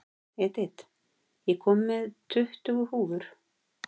Edith, ég kom með tuttugu húfur!